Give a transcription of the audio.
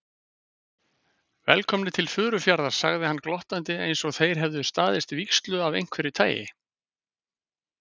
Velkomnir til Furufjarðar sagði hann glottandi einsog þeir hefðu staðist vígslu af einhverju tagi.